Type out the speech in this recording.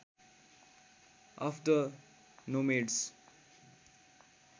of the nomads